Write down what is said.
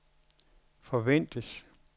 forventes